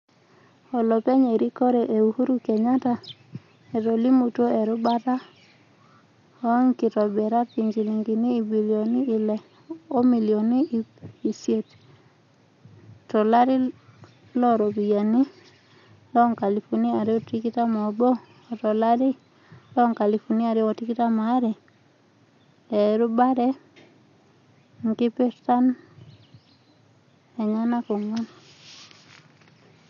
olopeny erikore e Uhuru Kenyatta etolimutuo erubata oongitobirat injilingini ibilioni ile o milioni iip isiet to lari looropiyani loonkalifuni are o tikitam obo o t lari loonkalifuni are o tikitam aare (2021/2023), eerubare inkipirtan eenyanak onguan.